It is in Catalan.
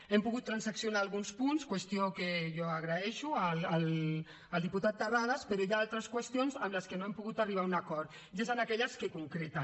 hem pogut transaccionar alguns punts qüestió que jo agraeixo al diputat terrades però hi ha altres qüestions en les quals no hem pogut arribar a un acord i és en aquelles que concreten